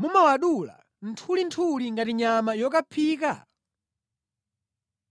mumawadula nthulinthuli ngati nyama yokaphika?”